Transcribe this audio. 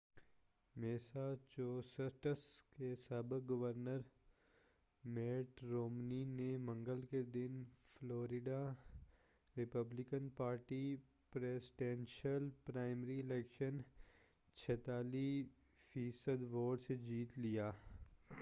Massachusetts کے سابق governor Mitt Romney نے منگل کے دن Florida Republican party presidential primary election 46 فی صد ووٹ سے جیت لیا